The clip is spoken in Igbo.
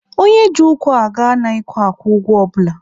Onye ji ụkwụ aga anaghịkwa akwụ ụgwọ ọbụla.